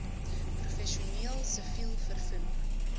professioneel siviel vervoer